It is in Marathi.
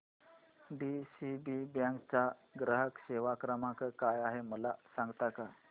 डीसीबी बँक चा ग्राहक सेवा क्रमांक काय आहे मला सांगता का